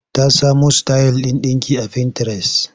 Ta samo sitayil ɗin ɗinki a fintires.